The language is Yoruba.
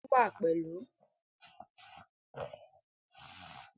Bẹ́ẹ̀ni, o tun wa pẹlu